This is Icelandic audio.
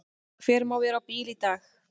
Hver má vera á bíl í dag?